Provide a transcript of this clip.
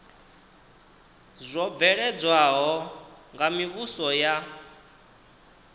zwo bveledzwaho nga mivhuso ya